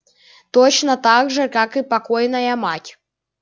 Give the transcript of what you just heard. точно так же как и покойная мать